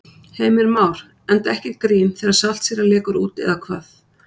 Heimir Már: Enda ekkert grín þegar saltsýra lekur út eða hvað?